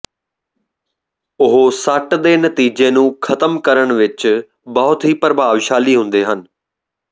ਉਹ ਸੱਟ ਦੇ ਨਤੀਜੇ ਨੂੰ ਖ਼ਤਮ ਕਰਨ ਵਿਚ ਬਹੁਤ ਹੀ ਪ੍ਰਭਾਵਸ਼ਾਲੀ ਹੁੰਦੇ ਹਨ